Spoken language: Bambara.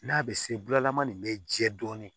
N'a bɛ se bulama nin bɛ jɛ dɔɔnin